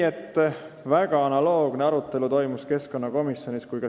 Seega, keskkonnakomisjonis toimus suure saaliga analoogne arutelu.